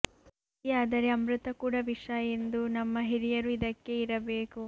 ಅತಿಯಾದರೆ ಅಮೃತ ಕೂಡ ವಿಷ ಎಂದು ನಮ್ಮ ಹಿರಿಯರು ಇದಕ್ಕೆ ಇರಬೇಕು